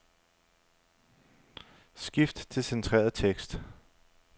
Skift til centreret tekst.